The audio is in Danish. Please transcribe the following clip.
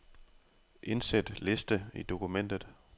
Indsæt liste i dokumentet.